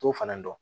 T'o fana dɔn